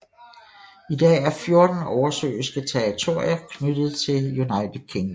I dag er fjorten oversøiske territorier knyttet til UK